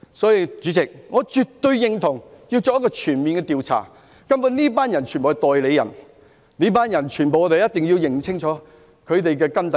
所以，主席，我絕對認同要作全面調查，根本這些人全部都是代理人，我們一定要查清這群人的根底。